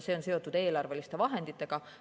See on seotud eelarveliste vahenditega.